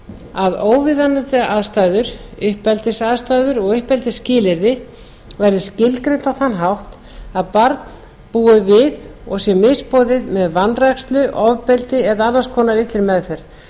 að óviðunandi aðstæður uppeldisaðstæður og uppeldisskilyrði verði skilgreind á þann hátt að barn búi við og sé misboðið með vanrækslu ofbeldi eða annars konar illri meðferð